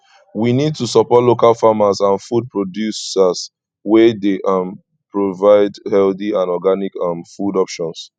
we need to support local farmers and food producers wey dey um provide healthy and organic um food options